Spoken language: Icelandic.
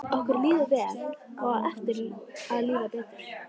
Okkur líður vel og á eftir að líða betur.